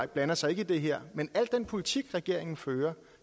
blander sig i det her men al den politik regeringen fører